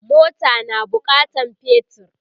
mota na bukatan petir